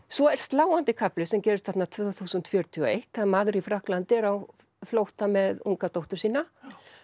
svo er sláandi kafli sem gerist þarna tvö þúsund fjörutíu og eitt þegar maður í Frakklandi er á flótta með unga dóttur sína